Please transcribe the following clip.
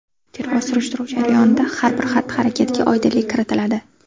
Tergov-surishtiruv jarayonida har bir xatti-harakatga oydinlik kiritiladi.